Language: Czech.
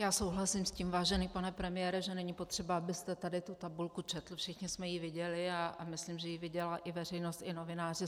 Já souhlasím s tím, vážený pane premiére, že není potřeba, abyste tady tu tabulku četl, všichni jsme ji viděli a myslím, že ji viděla i veřejnost i novináři.